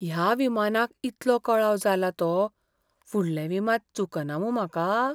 ह्या विमानाक इतलो कळाव जाला तो, फुडलें विमान चुकना मूं म्हाका?